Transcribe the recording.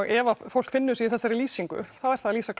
ef að fólk finnur sig í þessar lýsingu þá er það að lýsa